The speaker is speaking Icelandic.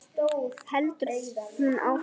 heldur hún áfram.